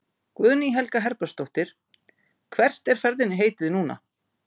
Guðný Helga Herbertsdóttir: Hvert er ferðinni heitið núna?